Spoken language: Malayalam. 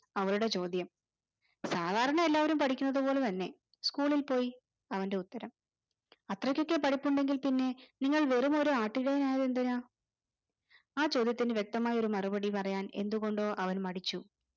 അവളുടെ ചോദ്യം സാദാരണ എല്ലാവരും പഠിക്കുന്നതു പോലെ തന്നെ school ൽ പോയി. അവന്റെ ഉത്തരം. അത്രക്കൊക്കെ പഠിപ്പുണ്ടെങ്കിൽ പിന്നെ നിങ്ങൾ വെറുമൊരു ആട്ടിടയനായന്തിനാ. ആ ചോദ്യത്തിന് വ്യക്തമായ ഒരു മറുപടി പറയാൻ എന്തുകൊണ്ടോ അവൻ മടിച്ചു